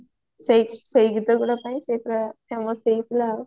ସେଇ ସେଇ ଗୀତା ଗୁଡା ପାଇଁ ସେ ପୁରା famous ହେଇଥିଲା ଆଉ